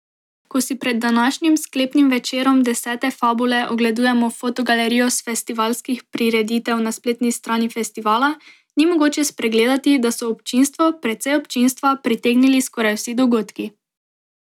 Ko si pred današnjim sklepnim večerom desete Fabule ogledujemo fotogalerijo s festivalskih prireditev na spletni strani festivala, ni mogoče spregledati, da so občinstvo, precej občinstva, pritegnili skoraj vsi dogodki.